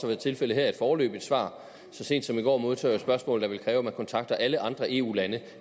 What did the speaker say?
været tilfældet her et foreløbigt svar så sent som i går modtog jeg et spørgsmål der ville kræve at man kontaktede alle andre eu lande